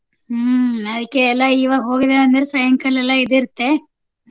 ಹ್ಮ್ ಅದ್ಕೆ ಎಲ್ಲಾ ಇವಾಗ್ ಹೋಗಿದಾರ್ ಅಂದ್ರ ಸಾಯಂಕಾಲ ಎಲ್ಲಾ ಇದ್ ಇರತ್ತೆ.